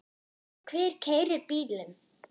Hver keyrir bílinn?